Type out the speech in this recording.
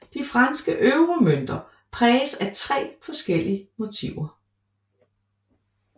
De franske euromønter præges af tre forskellige motiver